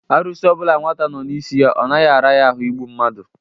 Arụsị ọbụla nwata nnọọ n'isi ya, ọ naghị ara ya ahụ igbu mmadu.